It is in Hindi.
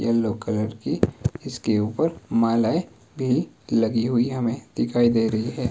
येलो कलर की इस की ऊपर मालाएं भी लगी हुई हमें दिखाई दे रही है।